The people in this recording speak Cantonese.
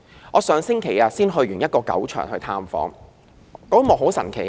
我上星期探訪一個狗場時曾目睹很神奇的一幕。